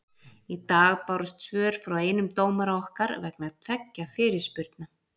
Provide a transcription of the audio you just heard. Í dag bárust svör frá einum dómara okkar vegna tveggja fyrirspurna.